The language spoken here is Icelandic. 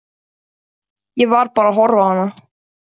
Ég var bara að horfa á hana.